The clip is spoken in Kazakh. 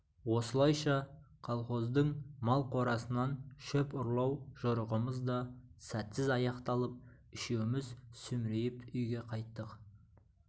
осылайша колхоздың мал қорасынан шөп ұрлау жорығымыз да сәтсіз аяқталып үшеуміз сүмірейіп үйге қайттық